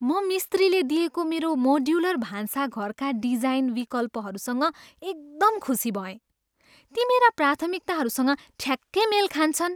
म मिस्त्रीले दिएको मेरो मोड्युलर भान्साघरका डिजाइन विकल्पहरूसँग एकदम खुसी भएँ। ती मेरा प्राथमिकताहरूसँग ठ्याक्कै मेल खान्छन्!